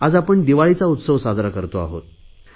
आज आपण दिवाळीचा उत्सव साजरा करतो आहोत